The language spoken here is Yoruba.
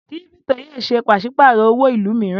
Kírípítò yòó ṣe pàṣípàrọ̀ owó ìlú mìíràn.